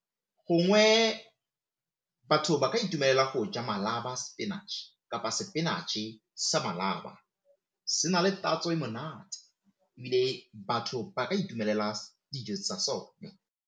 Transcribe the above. Gongwe batho ba ka itumela go ja malaba spinach kapa spinach-e sa malaba, se na le tatso e monate ebile batho ba ka itumelela dijo tsa sone.